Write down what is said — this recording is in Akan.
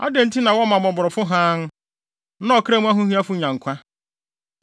“Adɛn nti na wɔma mmɔborɔfo hann, na ɔkra mu ahohiahiafo nya nkwa,